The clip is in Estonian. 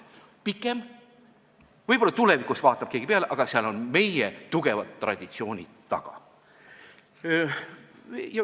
See on pikem, võib-olla tulevikus vaatab keegi seda nii, aga seal on meie tugevad traditsioonid taga.